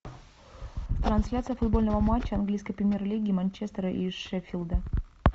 трансляция футбольного матча английской премьер лиги манчестера и шеффилда